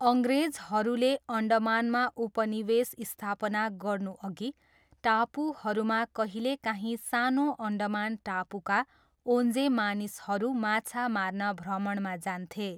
अङ्ग्रेजहरूले अन्डमानमा उपनिवेश स्थापना गर्नुअघि, टापुहरूमा कहिलेकाहीँ सानो अन्डमान टापुका ओन्जे मानिसहरू माछा मार्न भ्रमणमा जान्थे।